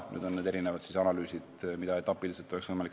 Etapi kaupa on nüüd võimalik analüüse edasi teha.